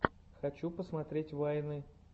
хочу посмотреть вайны